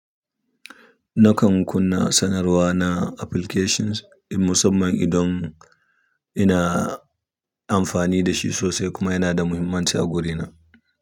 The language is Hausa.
Nakan kunna sanarwa na applications in musamman idan ina amfani da shi sosai kuma yana da muhimmanci a guri na.